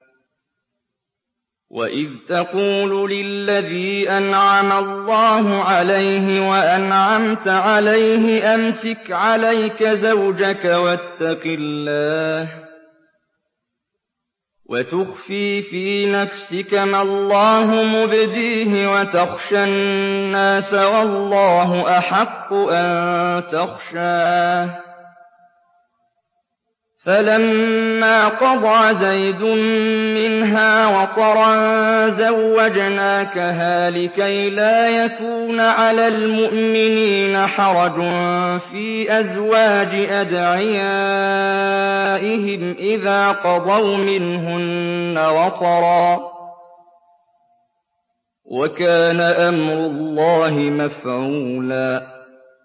وَإِذْ تَقُولُ لِلَّذِي أَنْعَمَ اللَّهُ عَلَيْهِ وَأَنْعَمْتَ عَلَيْهِ أَمْسِكْ عَلَيْكَ زَوْجَكَ وَاتَّقِ اللَّهَ وَتُخْفِي فِي نَفْسِكَ مَا اللَّهُ مُبْدِيهِ وَتَخْشَى النَّاسَ وَاللَّهُ أَحَقُّ أَن تَخْشَاهُ ۖ فَلَمَّا قَضَىٰ زَيْدٌ مِّنْهَا وَطَرًا زَوَّجْنَاكَهَا لِكَيْ لَا يَكُونَ عَلَى الْمُؤْمِنِينَ حَرَجٌ فِي أَزْوَاجِ أَدْعِيَائِهِمْ إِذَا قَضَوْا مِنْهُنَّ وَطَرًا ۚ وَكَانَ أَمْرُ اللَّهِ مَفْعُولًا